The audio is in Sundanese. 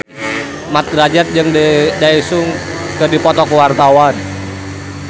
Mat Drajat jeung Daesung keur dipoto ku wartawan